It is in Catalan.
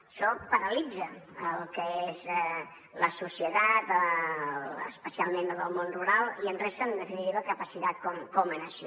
això paralitza el que és la societat especialment la del món rural i ens resta en definitiva capacitat com a nació